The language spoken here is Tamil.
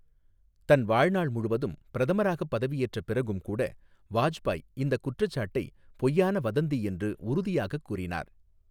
தன் வாழ்நாள் முழுவதும், பிரதமராக பதவியேற்ற பிறகும் கூட, வாஜ்பாய் இந்தக் குற்றச்சாட்டை பொய்யான வதந்தி என்று உறுதியாகக் கூறினார்.